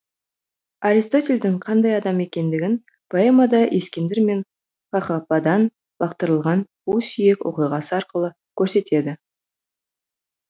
аристотельдің қандай адам екендігін поэмада ескендір мен қақападан лақтырылған қу сүйек оқиғасы арқылы көрсетеді